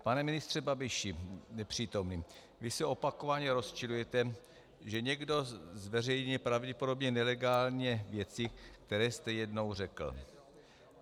Pane ministře Babiši, nepřítomný, vy se opakovaně rozčilujete, že někde zveřejnil pravděpodobně nelegálně věci, které jste jednou řekl.